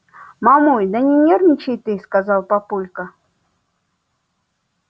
мамуль да не нервничай ты сказал папулька